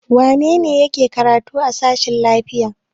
Wane ne yake karatu a sashen lafiya?